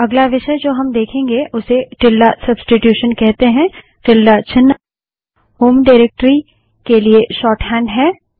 अगला विषय जो हम देखेंगे उसे टिल्ड सब्स्टिटूशन कहते हैं टिल्ड चिन्ह होम डाइरेक्टरी के लिए शोर्टहैंड है